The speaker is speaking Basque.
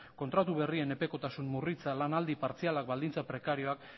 kontratu berrien epekotasun murritza lanaldia partziala baldintza prekarioak